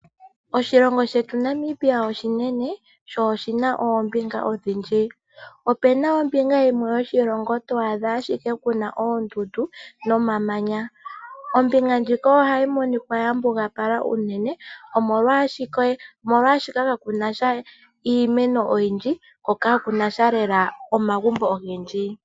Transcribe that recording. Oshilongo shetu Namibia oshinene, sho oshina oombinga odhindji. Opuna ombinga yimwe yoshilongo to adha ashike kuna oondundu nomamanya, ombinga ohayi ya mbugapala unene, omolwaashoka ka kuna sha iimeno oyindji, ko ka kuna sha lela omagumbo ogendji.